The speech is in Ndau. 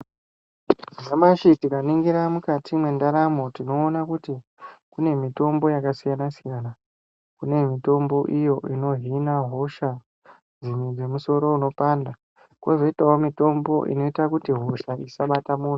Nyamashi tikaningira mukati mendaramo tonoona kuti kune mitombo yakasiyana siyana pane mitombo inohina hosha nemusoro unopanda kozoitawo mitombo inoita kuti hosha isabata antu.